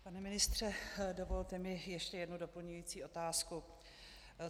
Pane ministře, dovolte mi ještě jednu doplňující otázku.